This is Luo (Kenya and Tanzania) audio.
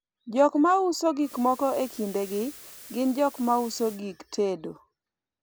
jok mauso gikmoko e kindegi gin jok mauso gik tedo